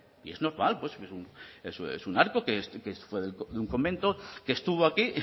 y es normal es un arco que fue de un convento que estuvo aquí y